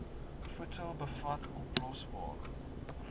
voedsel bevat oplosbare